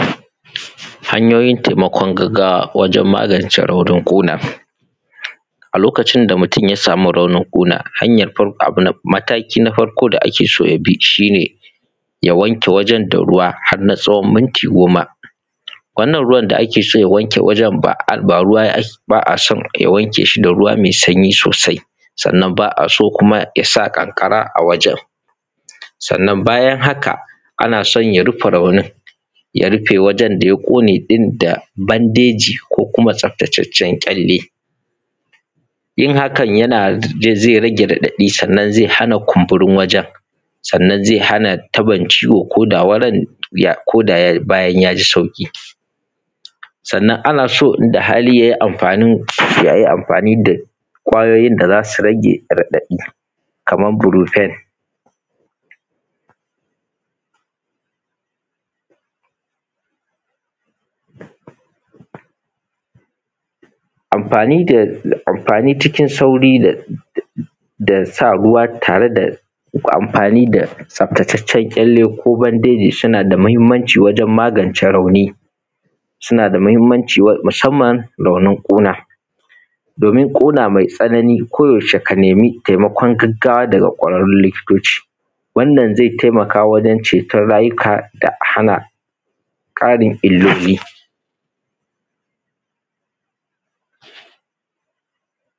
Hanyoyin taimakon gaggawa wajen magance raunin ƙuna a lokutan da mutun ya sama raunin ƙuna maki na farko da ake so yabi shi ne ya wanke wajen da ruwa harna tsawon minti goma wannan ruwan da ake so ya wanke wajen da ba a so ya wanke shi da ruwa me sanyi sosai sannan ba a so ya sa ƙanƙara a wajen da sannan bayan haka ana son ya rufe raunin ya rufe wajen da ya ƙune ɗin da bandeji ko kuma tsaftataccen ƙyalle yin haka zai rage raɗadi sannan zai rage ƙunburin wajen da sannan zai hana tabon ciwon ko da bayan ya ji sauƙi sannan ana son inda hali ya yi anfani da ƙwayyoyin da za su rage raɗadi kaman furofen anfani cikin sauri da sa ruwa tare da anfani da tsaftataccen ƙyalle ko bandeji suna da mahimmanci wajen magance rauni suna da mahimmanci musamanna a wurin ƙuna domin ƙuna me tsanani ko yaushe ka nemi taimakon gaggawa da kwararen likitoci wannan zai taimaka wajen ceton rayuwaka da hana ƙarin illoli